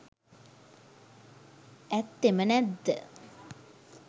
ඇත්තෙම නැත්ද?